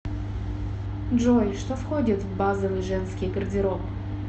джой что входит в базовый женский гардероб